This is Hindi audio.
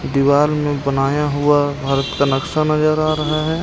दीवार में बनाया हुआ भारत का नक्शा नजर आ रहा है.